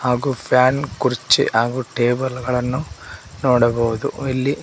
ಹಾಗು ಫ್ಯಾನ್ ಕುರ್ಚಿ ಹಾಗು ಟೇಬಲ್ ಗಳನ್ನು ನೋಡಬಹುದು ಇಲ್ಲಿ--